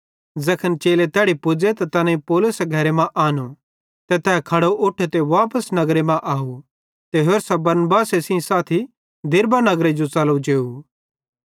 ज़ैखन चेले तैड़ी पुज़े त तैनेईं पौलुस घरे मां आनो ते तै खड़ो उठो ते वापस नगर मां अव ते होरसां बरनबासे सेइं साथी दिरबे नगरे जो च़लो जेव